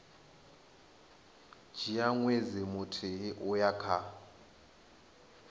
dzhia ṅwedzi muthihi uya kha